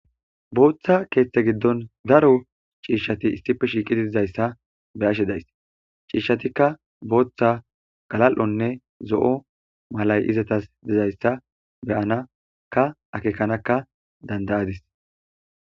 Booththa keeththe giddon daro ciishati issipe shiiqi didizayssa be ashe days ciishshatikka booththa galal7onne zo7o malay izatas dizayssa beyanaka akeekanakka dandayadis.